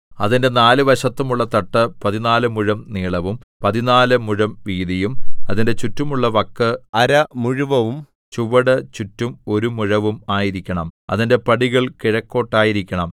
അതിന്റെ നാല് വശത്തുമുള്ള തട്ട് പതിനാലു മുഴം നീളവും പതിനാലു മുഴം വീതിയും അതിന്റെ ചുറ്റുമുള്ള വക്ക് അര മുഴവും ചുവട് ചുറ്റും ഒരു മുഴവും ആയിരിക്കണം അതിന്റെ പടികൾ കിഴക്കോട്ടായിരിക്കണം